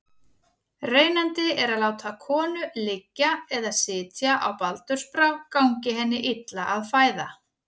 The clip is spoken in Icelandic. Reynandi er að láta konu liggja eða sitja á baldursbrá gangi henni illa að fæða.